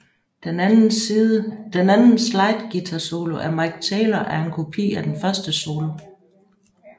Den anden slide guitar solo af Mick Taylor er en kopi af den første solo